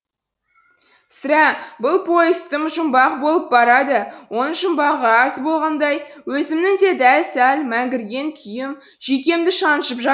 сірә бұл поезд тым жұмбақ болып барады оның жұмбағы аз болғандай өзімнің де дел сал мәңгірген күйім жүйкемді шаншып жә